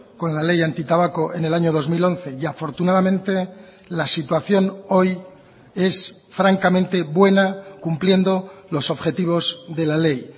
con la ley antitabaco en el año dos mil once y afortunadamente la situación hoy es francamente buena cumpliendo los objetivos de la ley